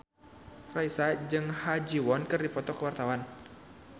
Raisa jeung Ha Ji Won keur dipoto ku wartawan